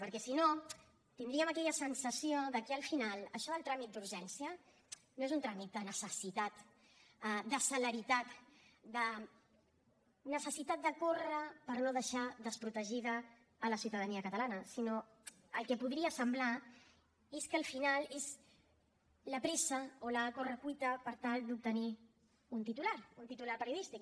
perquè si no tindríem aquella sensació de que al final això del tràmit d’urgència no és un tràmit de necessitat de celeritat de necessitat de córrer per no deixar desprotegida la ciutadania catalana sinó que el que podria semblar és que al final és la pressa o la correcuita per tal d’obtenir un titular un titular periodístic